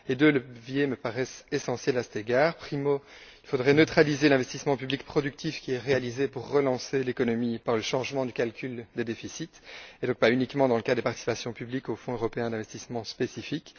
Deux leviers me paraissent essentiels à cet égard. Premièrement, il faudrait neutraliser l'investissement public productif qui est réalisé pour relancer l'économie, par le changement du calcul des déficits, et donc pas uniquement dans le cadre des participations publiques au fonds européen d'investissement spécifique.